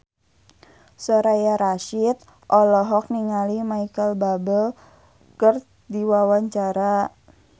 Soraya Rasyid olohok ningali Micheal Bubble keur diwawancara